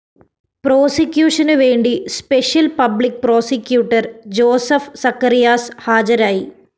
പ്രോസിക്യൂഷനുവേണ്ടി special public prosecutor Joseph Zacharias ഹാജരായി